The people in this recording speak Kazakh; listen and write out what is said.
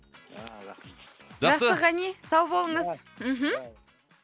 а рахмет жақсы ғани сау болыңыз мхм